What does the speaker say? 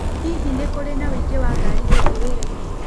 Hihi nĩ kũrĩ na ũingĩ wa ngari ũgĩthiĩ wĩra-inĩ